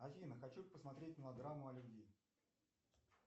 афина хочу посмотреть мелодраму о любви